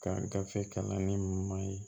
Ka gafe kalanni ɲuman ye